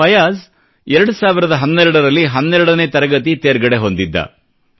ಫಯಾಜ್ 2012 ರಲ್ಲಿ 12 ನೇ ತರಗತಿ ತೇರ್ಗಡೆ ಹೊಂದಿದ್ದ